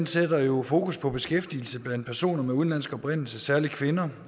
sætter jo fokus på beskæftigelse blandt personer med udenlandsk oprindelse særlig kvinder